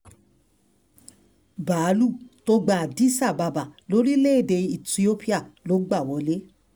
báálùú tó gba addis ababa lórílẹ̀-èdè ethiopia ló bá wọlé